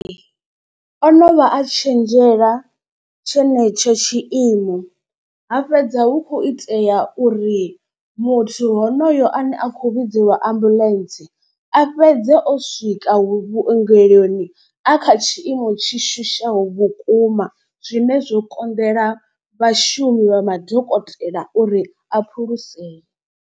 O no vha a tshenzhela tshenetsho tshiimo ha fhedza hu khou itea uri muthu honoyo ane a khou vhidzelwa ambuḽentse. A fhedze o swika vhuongeloni a kha tshiimo tshi shushaho vhukuma zwine zwo konḓela vhashumi vha madokotela uri a phulusee.